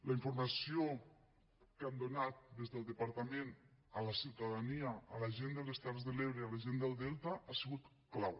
la informació que han donat des del departament a la ciutadania a la gent de les terres de l’ebre a la gent del delta ha sigut clau